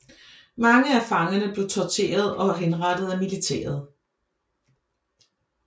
Mange af fangerne blev torteret og henrettet af militæret